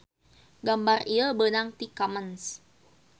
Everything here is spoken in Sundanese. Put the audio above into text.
Gambar ieu beunang ti commons.